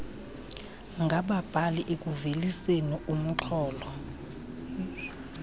ngababhali ekuveliseni urnxholo